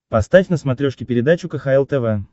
поставь на смотрешке передачу кхл тв